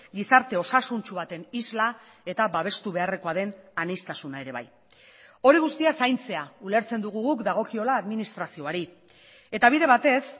gizarte osasuntsu baten isla eta babestu beharrekoa den aniztasuna ere bai hori guztia zaintzea ulertzen dugu guk dagokiola administrazioari eta bide batez